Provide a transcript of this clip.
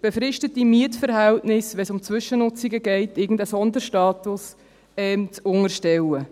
befristete Mietverhältnisse, wenn es um Zwischennutzungen geht, irgendeinem Sonderstatus zu unterstellen.